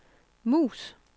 mus